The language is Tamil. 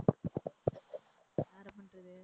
யார பண்றது?